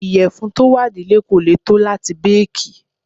Ìyẹ̀fun tó wà nílé kò lè tó láti béèkì.